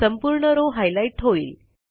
संपूर्ण row highlight होईल